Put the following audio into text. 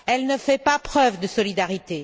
Elle ne fait pas preuve de solidarité.